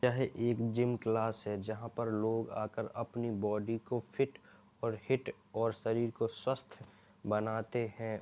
यह एक gym class है जहां पर लोग आकर अपनी बॉडी को फिट और हिट और शरीर को स्वस्थ बनाते हैं।